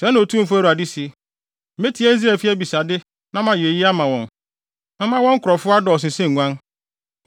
“Sɛɛ na Otumfo Awurade se: Metie Israelfi abisade na mayɛ eyi ama wɔn; Mɛma wɔn nkurɔfo adɔɔso sɛ nguan,